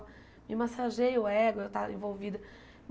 Me massageia o ego, eu estar envolvida.